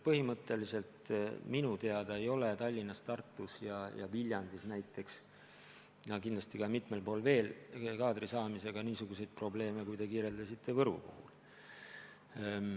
Minu teada ei ole Tallinnas, Tartus, Viljandis ja kindlasti ka mitmel pool mujal kaadri saamisega niisuguseid probleeme, nagu te kirjeldasite Võru puhul.